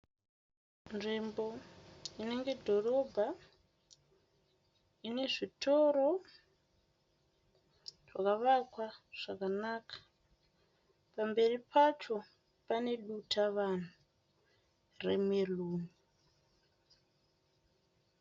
Nzvimbo inenge dhorobha, ine zvitoro zvakavakwa zvakanaka, pamberi pacho pane dutavanhu remeruni